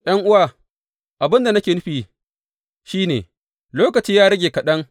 ’Yan’uwa, abin da nake nufi shi ne, lokaci ya rage kaɗan.